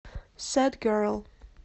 сэд герл